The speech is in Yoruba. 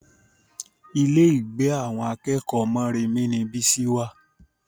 Ilé ìgbé àwọn akẹ́kọ̀ọ́ Moremi ni Bísí wà